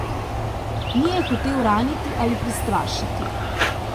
Ni je hotel raniti ali prestrašiti.